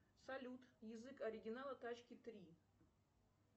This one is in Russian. салют язык оригинала тачки три